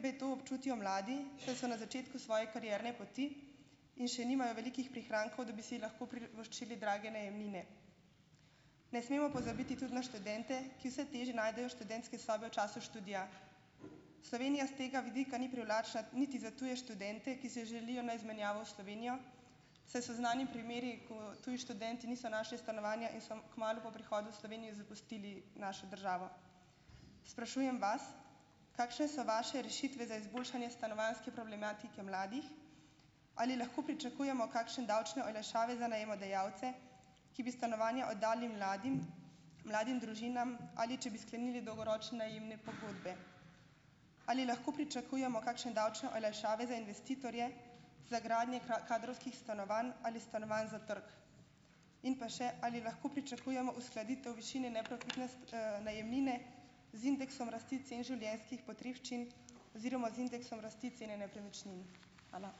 b to občutijo mladi, saj so na začetku svoje karierne poti in še nimajo velikih prihrankov, da bi si lahko privoščili drage najemnine. Ne smemo pozabiti tudi na študente, ki vse težje najdejo študente sobe v času študija. Slovenija s tega vidika ni privlačna niti za tuje študente, ki se želijo na izmenjavo v Slovenijo, saj so znani primeri, ko tuji študenti niso našli stanovanja in so kmalu po prihodu v Slovenijo zapustili našo državo. Sprašujem vas, kakšne so vaše rešitve za izboljšanje stanovanjske problematike mladih. Ali lahko pričakujemo kakšne davčne olajšave za najemodajalce, ki bi stanovanje oddali mladim, mladim družinam, ali če bi sklenili dolgoročne najemne pogodbe? Ali lahko pričakujemo kakšne davčne olajšave za investitorje za gradnje kadrovskih stanovanj ali stanovanj za trg? In pa še, ali lahko pričakujemo uskladitev višine neprofitne, najemnine z indeksom rasti cen življenjskih potrebščin oziroma z indeksom rasti cene nepremičnin? Hvala.